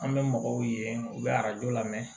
An bɛ mɔgɔw ye u bɛ arajo lamɛn